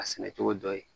A sɛnɛ cogo dɔ ye